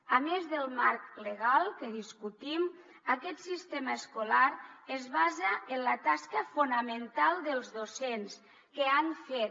a més del marc legal que discutim aquest sistema escolar es basa en la tasca fonamental dels docents que han fet